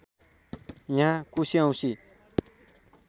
यहाँ कुशे औँसी